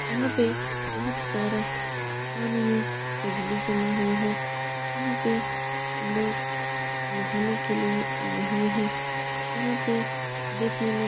यहाँ पे बहुत सारा पानी में गजली जमा हुआ है। यहाँ पे लोग नहाने के लिए आये हुए हैं। यहाँ पे देखने में --